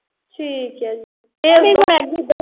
ਠੀਕ ਆ ਜੀ। ਫੇਰ